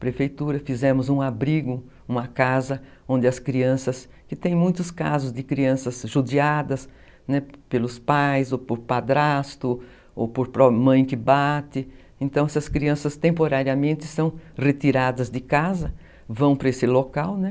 Prefeitura, fizemos um abrigo, uma casa, onde as crianças, que tem muitos casos de crianças judiadas pelos pais, ou por padrasto, ou por mãe que bate, então essas crianças temporariamente são retiradas de casa, vão para esse local, né?